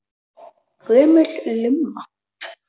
Gömul lumma.